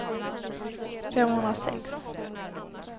femhundrasex